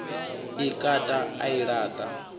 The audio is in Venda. i kata a i laṱa